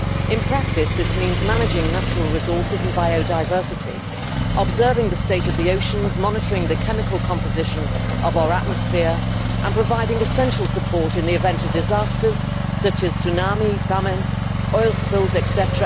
In practice this means managing natural resources and biodiversity, observing the state of the oceans, monitoring the chemical composition of our atmosphere and providing essential support in the event of disasters such as tsunamis, famine, oil spills, etc.,